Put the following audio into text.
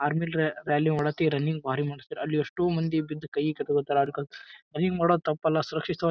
Army rally ಮಾಡಾಕ್ ಈ running ಬಾರಿ ಮಾಡಿಸ್ತಾರ್. ಅಲ್ಲಿ ಎಷ್ಟೋ ಮಂದಿ ಬಿದ್ದು ಕೈ ಕಟ್ಕೋತಾರ ಆಡ್ಕೊಂತ. ರನ್ನಿಂಗ್ ಮಾಡೋದ್ ತಪ್ಪಲ್ಲ ಸುರಕ್ಷಿತವಾಗ--